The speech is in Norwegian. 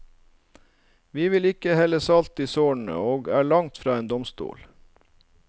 Vi vil ikke helle salt i sårene, og er langt fra en domstol.